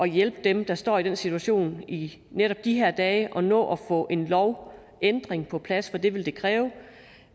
hjælpe dem der står i den situation i netop de her dage at nå at få en lovændring på plads for det vil det kræve